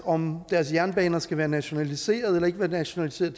om deres jernbaner skal være nationaliseret eller ikke være nationaliseret